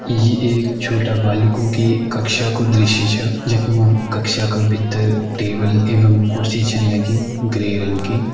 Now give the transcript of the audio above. इ एक छोटा बालिकों की कक्षा कु दृश्य छ जख्मु कक्षा का भीतर टेबल एवं कुर्सी छन लगीं ग्रे रंग की ।